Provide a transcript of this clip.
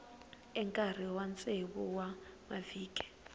enkarhini wa tsevu wa mavhiki